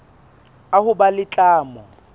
a ho ba le tlamo